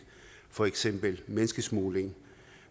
for eksempel menneskesmugling